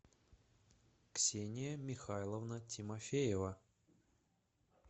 ксения михайловна тимофеева